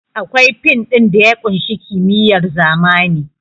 Akwai fin ɗin da ya ƙunshi kimiyyar zamani